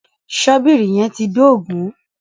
Ṣọ́bìrì yẹn ti ń dógùn-ún.